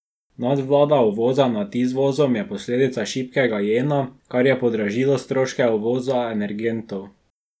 Nadvlada uvoza nad izvozom je posledica šibkega jena, kar je podražilo stroške uvoza energentov.